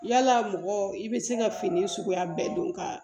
Yala mɔgɔ i bɛ se ka fini suguya bɛɛ don ka